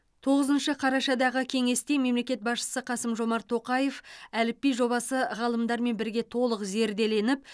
тоғызыншы қарашадағы кеңесте мемлекет басшысы қасым жомарт тоқаев әліпби жобасы ғалымдармен бірге толық зерделеніп